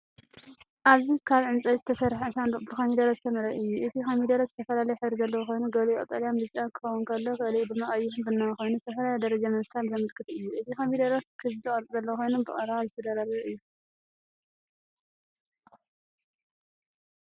ኣብዚ ካብ ዕንጨይቲ ዝተሰርሐ ሳንዱቕ ብኮሚደረ ዝተመልአ እዩ። እቲ ኮሚደረ ዝተፈላለየ ሕብሪ ዘለዎ ኮይኑ፡ ገሊኡ ቀጠልያን ብጫን ክኸውን ከሎ፡ገሊኡ ድማ ቀይሕን ቡናዊን ኮይኑ፡ ዝተፈላለየ ደረጃ ምብሳል ዘመልክት እዩ። እቲ ኮሚደረ ክቡብ ቅርጺ ዘለዎ ኮይኑ ብቐረባ ዝተደራረበ እዩ።